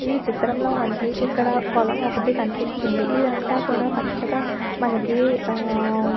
ఈ చిత్రంలో మనకి ఇక్కడ పొలం ఒక్కటి కనిపిస్తుందిఇదంతా కూడా పచ్చగా మనకి ఆ--